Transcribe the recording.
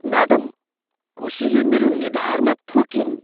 Madam, कुसीले मेरो निधारमा थुकिन्।